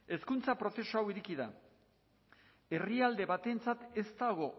hezkuntza prozesu hau ireki da herrialde batentzat ez dago